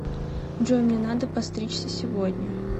джой мне надо постричься сегодня